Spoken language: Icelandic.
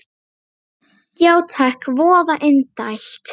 Já takk, voða indælt